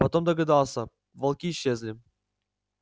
потом догадался волки исчезли